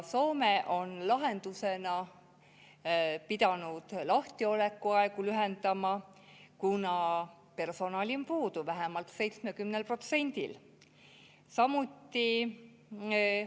Soome on lahendusena pidanud lahtiolekuaegu lühendama, kuna personali on puudu vähemalt 70%‑l.